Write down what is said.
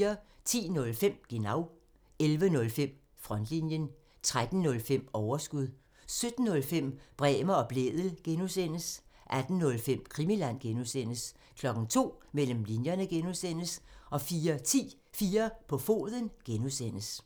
10:05: Genau (tir) 11:05: Frontlinjen (tir) 13:05: Overskud (tir) 17:05: Bremer og Blædel (G) (tir) 18:05: Krimiland (G) (tir) 02:00: Mellem linjerne (G) (tir) 04:10: 4 på foden (G) (tir)